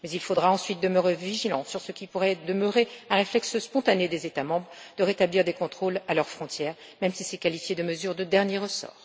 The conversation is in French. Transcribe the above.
Mais il faudra ensuite demeurer vigilant sur ce qui pourrait demeurer un réflexe spontané des États membres de rétablir des contrôles à leurs frontières, même si cela est qualifié de mesure de dernier ressort.